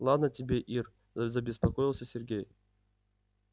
ладно тебе ир забеспокоился сергей